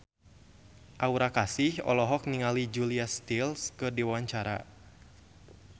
Aura Kasih olohok ningali Julia Stiles keur diwawancara